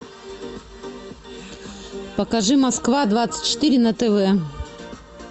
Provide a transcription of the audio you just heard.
покажи москва двадцать четыре на тв